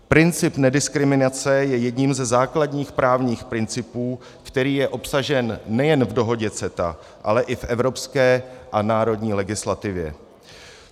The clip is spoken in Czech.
Princip nediskriminace je jedním ze základních právních principů, který je obsažen nejen v dohodě CETA, ale i v evropské a národní legislativě.